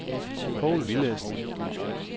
Povl Villadsen